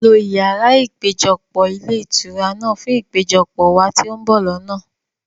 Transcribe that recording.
lo yàrá ìpéjọpọ̀ ilé ìtura náà fún ìpéjọpọ̀ wá ti o n bọ̀ lọ́nà!